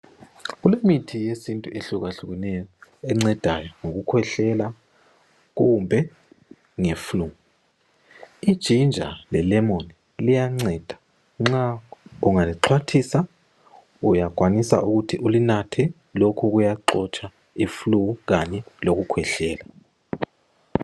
Kulemithi yesintu ehlukahlukeneyo encedayo ngokukhwehlela kumbe nge flu, ijinja le lemoni liyanceda, nxa ungalixhwathisa uyakwanisa ukuthi ulinathe lokhu kuyaxotsha iflu kanye lokukhwehlela.